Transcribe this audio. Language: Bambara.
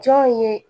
Jɔn ye